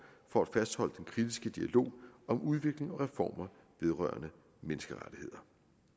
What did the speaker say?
for at fastholde den kritiske dialog om udvikling og reformer vedrørende menneskerettigheder